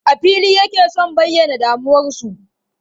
A fili yake sun bayyana damuwarsu.